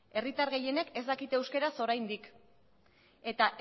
herritar gehienek ez dakite euskaraz oraindik eta